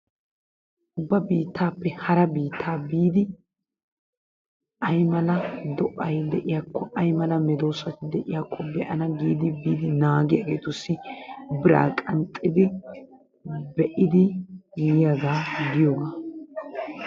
Ba biittaappe hara biittaa biidi ay mala do'ay de''iyakko, ay mala mesoosati de'iyakko be'ana giidi biidi naagiyageetussi biraa qanxxidi be'idi yiyagaa giyogaa.